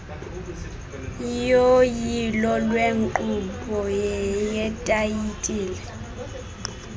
yoyilo lwenkqubo yetayitile